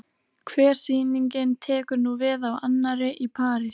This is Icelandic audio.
Hver sýningin tekur nú við af annarri- Í París